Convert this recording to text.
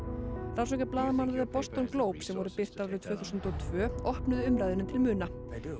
rannsóknir blaðamanna Boston Globe sem voru birtar árið tvö þúsund og tvö opnuðu umræðuna til muna